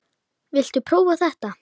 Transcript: Viltu prófa þetta?